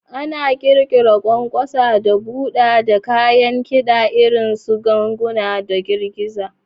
Ana ƙirƙira ƙwanƙwasa da buɗa ta kayan kida irin su ganguna da girgiza.